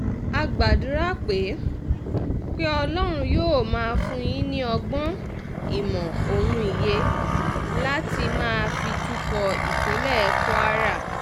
a gbàdúrà pé pé ọlọ́run yóò máa fún yín ní ọgbọ́n ìmọ̀ ohun òye láti máa fi tukọ̀ ìpínlẹ̀ kwara